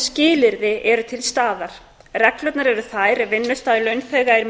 skilyrði eru til staðar reglurnar eru þær ef vinnustaður launþegar